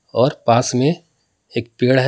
और पास में एक पेड़ है।